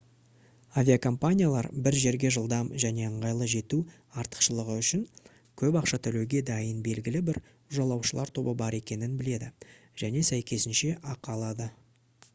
авиакомпаниялар бір жерге жылдам және ыңғайлы жету артықшылығы үшін көп ақша төлеуге дайын белгілі бір жолаушылар тобы бар екенін біледі және сәйкесінше ақы алады